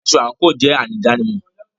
Aṣọ àńkò jẹ àmì ìdánimọ̀.